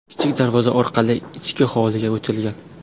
Kichik darvoza orqali ichki hovliga o‘tilgan.